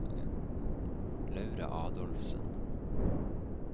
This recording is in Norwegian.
Laura Adolfsen